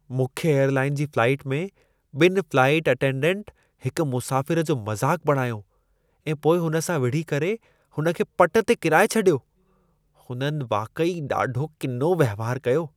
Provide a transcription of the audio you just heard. मुख्य एयरलाइन जी फ़्लाइट में ॿिनि फ्लाइट अटेंडेंट हिकु मुसाफ़िरु जो मज़ाक़ बणायो ऐं पोइ हुन सां विढ़ी करे हुन खे पटु ते किराए छॾियो। उन्हनि वाक़ई ॾाढो किनो वहिंवार कयो।